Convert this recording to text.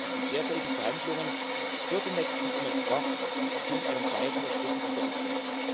Die derzeitigen Verhandlungen für den nächsten MFR sind ein entscheidender Schritt in diese Richtung.